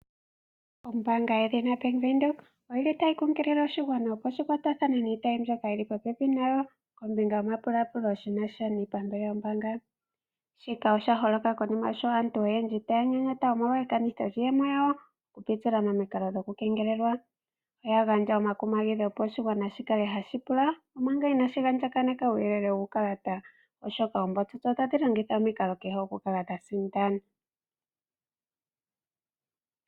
Ombaanga yedhina Bank Windhoek otayi kunkilile oshigwana opo shi kwatathane niitayi mbyoka yi li popepi nayo kombinga yomapulapulo shi na sha niipambele yombaanga. Shika osha holoka konima sho aantu oyendji taya nyenyeta, omolwa ekanitho lyiiyemo yawo okupitila momikalo dhokukengelelwa. Oya gandja omakumagidho, opo oshigwana shi kale hashi pula omanga inashi andjakaneka uuyelele wuukalata, oshoka oombotsotso otadhi longitha omikalo kehe okukala dha sindana.